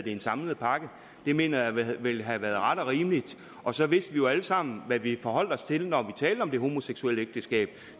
i en samlet pakke det mener jeg ville have været ret og rimeligt og så vidste vi jo alle sammen hvad vi forholdt os til når vi talte om det homoseksuelle ægteskab